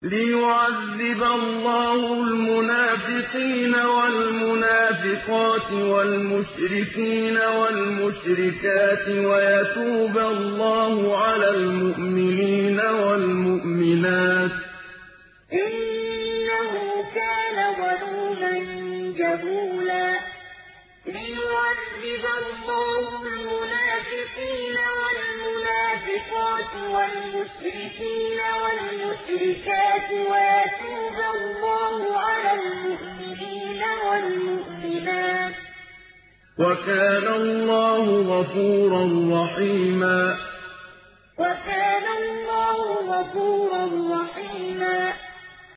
لِّيُعَذِّبَ اللَّهُ الْمُنَافِقِينَ وَالْمُنَافِقَاتِ وَالْمُشْرِكِينَ وَالْمُشْرِكَاتِ وَيَتُوبَ اللَّهُ عَلَى الْمُؤْمِنِينَ وَالْمُؤْمِنَاتِ ۗ وَكَانَ اللَّهُ غَفُورًا رَّحِيمًا لِّيُعَذِّبَ اللَّهُ الْمُنَافِقِينَ وَالْمُنَافِقَاتِ وَالْمُشْرِكِينَ وَالْمُشْرِكَاتِ وَيَتُوبَ اللَّهُ عَلَى الْمُؤْمِنِينَ وَالْمُؤْمِنَاتِ ۗ وَكَانَ اللَّهُ غَفُورًا رَّحِيمًا